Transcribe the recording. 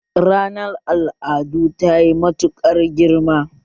Ranar al'adu tayi matuƙar girma